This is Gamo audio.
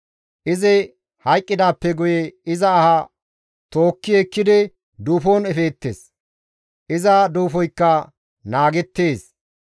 Izi hayqqidaappe guye iza aha tookki ekkidi duufon efeettes; iza duufoykka naageettes.